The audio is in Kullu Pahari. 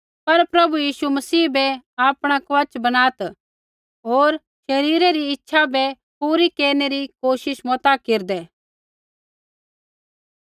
पर प्रभु यीशु मसीह बै आपणा कवच बणात् होर शरीरे री इच्छा बै पूरी केरनै री कोशिश मता केरदै